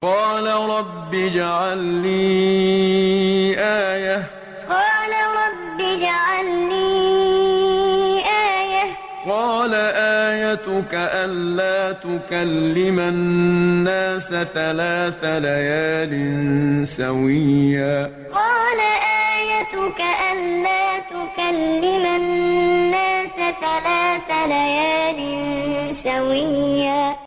قَالَ رَبِّ اجْعَل لِّي آيَةً ۚ قَالَ آيَتُكَ أَلَّا تُكَلِّمَ النَّاسَ ثَلَاثَ لَيَالٍ سَوِيًّا قَالَ رَبِّ اجْعَل لِّي آيَةً ۚ قَالَ آيَتُكَ أَلَّا تُكَلِّمَ النَّاسَ ثَلَاثَ لَيَالٍ سَوِيًّا